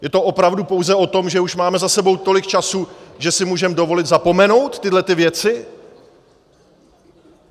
Je to opravdu pouze o tom, že už máme za sebou tolik času, že si můžeme dovolit zapomenout tyhlety věci?